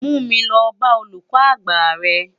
Mú mi lò bá ólúkò ágbá rè